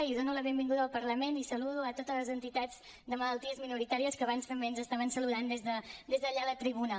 i dono la benvinguda al parlament i saludo a totes les entitats de malalties minoritàries que abans també ens estaven saludant des d’allà la tribuna